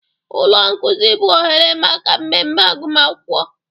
Ụlọ nkuzi bụ oghere maka mmemme agụma akwụkwọ.